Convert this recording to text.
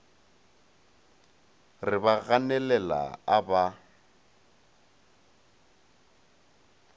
re ba ganelela a ba